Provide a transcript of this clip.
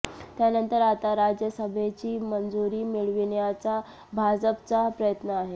त्यानंतर आता राज्यसभेची मंजुरी मिळविण्याचा भाजपचा प्रयत्न आहे